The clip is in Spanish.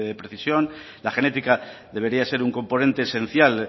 precisión la genética debería ser un componente esencial